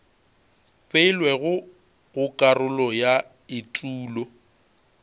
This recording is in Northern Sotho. beilwego go karolo ya etulo